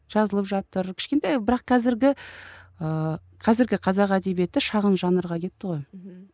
жазылып жатыр кішкентай бірақ қазіргі ыыы қазіргі қазақ әдебиеті шағын жанрға кетті ғой мхм